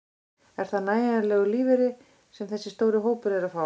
Er þetta nægjanlegur lífeyri sem þessi stóri hópur er að fá?